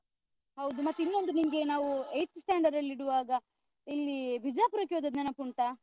ಹೌದು ಮತ್ತೆ ಇನ್ನೊಂದು ನಿಂಗೆ ನಾವೂ eighth standard ಅಲ್ಲಿಡುವಾಗ ಇಲ್ಲೀ ಬಿಜಾಪುರಕ್ಕೆ ಹೋದದ್ದು ನೆನಪುಂಟಾ?